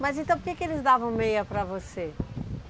Mas então por que eles davam meia para você?